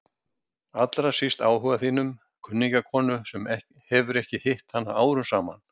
Allra síst áhuga þínum, kunningjakonu sem hefur ekki hitt hana árum saman.